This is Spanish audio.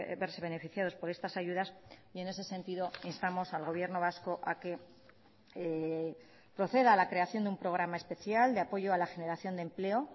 verse beneficiados por estas ayudas y en ese sentido instamos al gobierno vasco a que proceda a la creación de un programa especial de apoyo a la generación de empleo